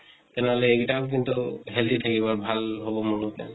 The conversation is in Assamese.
তেনেহলে এইগিতাও কিন্তু healthy থাকিব আৰু ভাল হʼব মোৰ মতে।